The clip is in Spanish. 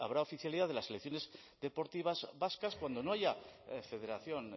habrá oficialidad de las selecciones deportivas vascas cuando no haya federación